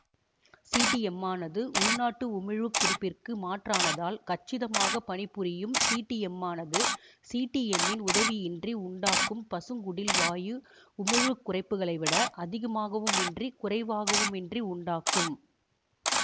சிடீஎம்மானது உள்நாட்டு உமிழ்வு குறிப்பிற்கு மாற்றானதால் கச்சிதமாக பணிபுரியும் சிடீஎம்மானது சிடீஎம்மின் உதவியின்றி உண்டாக்கும் பசுங்குடில் வாயு உமிழ்வு குறைப்புகளை விட அதிகமாகவுமின்றி குறைவாகவுமின்றி உண்டாக்கும்